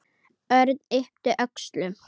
Örn yppti öxlum.